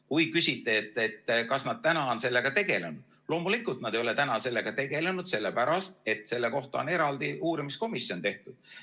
Kui küsite, et kas nad on sellega tegelenud, siis loomulikult nad ei ole sellega tegelenud, sellepärast et selle jaoks on eraldi uurimiskomisjon tehtud.